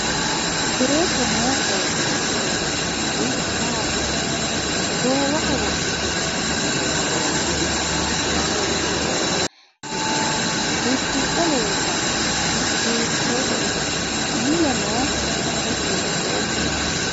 Beeto noo qooxeesi leelishanori maati ise goowaho wodhite noo ba'latto aana leeelanno seesi hiitooho ise udidhe leeltanno uddano hiitoote ise mule noo hijaari hiitooho